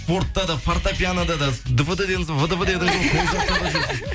спортта да фортепианода да двд дедіңіз вдв дедіңіз